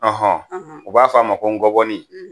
u b'a fɔ a ma ko ngɔbɔni